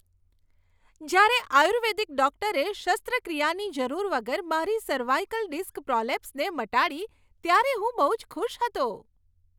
જ્યારે આયુર્વેદિક ડૉક્ટરે શસ્ત્રક્રિયાની જરૂર વગર મારી સર્વાઈકલ ડિસ્ક પ્રોલેપ્સને મટાડી, ત્યારે હું બહુ જ ખુશ હતો.